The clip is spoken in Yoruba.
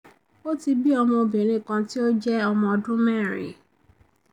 o ti bi ọmọ obìnrin kan tí ó jẹ um jẹ um ọmọ ọdún mẹ́rin